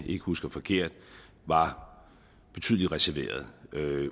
ikke husker forkert var betydelig reserveret